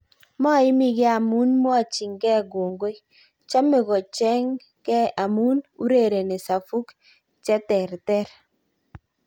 Moimige amun mwochinge kongoi, chome koche ge amun urereni safuk cheterter.